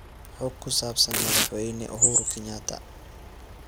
xog ku saabsan madaxweyne uhuru kenyatta